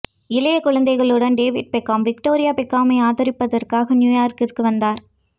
இளைய குழந்தைகளுடன் David Beckham Victoria பெக்காமை ஆதரிப்பதற்காக நியூயார்க்கிற்கு வந்தார்